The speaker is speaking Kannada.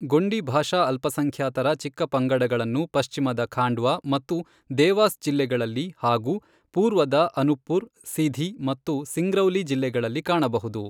ಗೊಂಡಿ ಭಾಷಾ ಅಲ್ಪಸಂಖ್ಯಾತರ ಚಿಕ್ಕಪಂಗಡಗಳನ್ನು ಪಶ್ಚಿಮದ ಖಾಂಡ್ವಾ ಮತ್ತು ದೇವಾಸ್ ಜಿಲ್ಲೆಗಳಲ್ಲಿ ಹಾಗೂ ಪೂರ್ವದ ಅನುಪ್ಪುರ್, ಸಿಧಿ ಮತ್ತು ಸಿಂಗ್ರೌಲಿ ಜಿಲ್ಲೆಗಳಲ್ಲಿ ಕಾಣಬಹುದು.